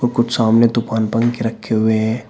कुछ सामने तूफान पंखे रखे हुए हैं।